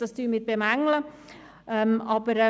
Das bemängeln wir.